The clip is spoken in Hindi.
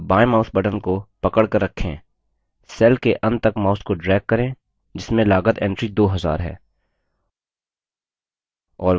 अब बायें mouse button को पकड़कर रखें cell के अंत तक mouse को drag करें जिसमें लागत entry 2000 है